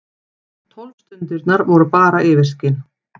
Tólf stundirnar voru bara yfirskin.